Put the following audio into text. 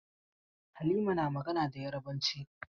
Halima na magana da Yarabanci.